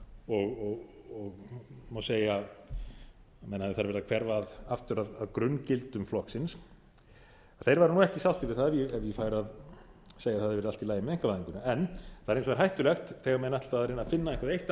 og má segja að menn hafi þar verið að hverfa aftur að grunngildum flokksins þeir væru ekki sáttir við það ef ég færi að segja að það hefði verið allt í lagi með einkavæðinguna það er hins vegar hættulegt þegar menn ætla að reyna að finna eitthvert eitt